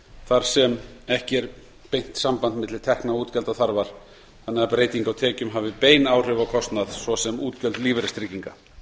þar sem ekki er beint samband milli tekna og útgjaldaþarfar þannig að breyting á tekjum hafi bein áhrif á kostnað svo sem útgjöld lífeyristrygginga